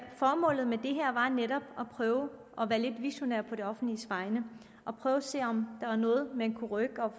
netop at prøve at være lidt visionær på det offentliges vegne og prøve at se om man kan rykke